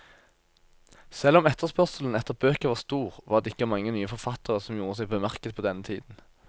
Selv om etterspørselen etter bøker var stor, var det ikke mange nye forfattere som gjorde seg bemerket på denne tiden.